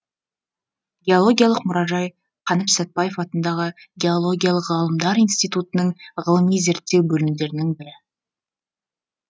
геологиялық мұражай қаныш сәтбаев атындағы геологиялық ғылымдар институтының ғылыми зерттеу бөлімдерінің бірі